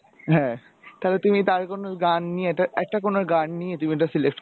হ্যা তালে তুমি তার কোন গান নিয়ে একটা কোন গান নিয়ে তুমি একটা select